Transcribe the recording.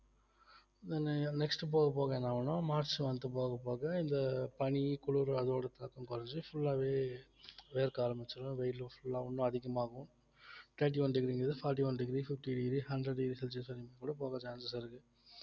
next உ போக போக என்ன ஆகும்ன்னா மார்ச் வந்துட்டு போகப் போக இந்த பனி குளிர் அதோட தாக்கம் குறைஞ்சி full ஆவே வேர்க்க ஆரம்பிச்சுரும் வெயில் full ஆ இன்னும் அதிகமாகும் thirty one degree ங்கறது forty one degree fifty degree hundred degree celsius லாம் கூட போக chances இருக்கு